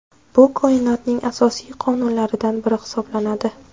Bu Koinotning asosiy qonunlaridan biri hisoblanadi.